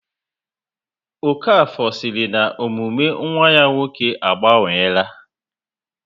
Okafor siri na omume nwa ya nwoke a gbanweela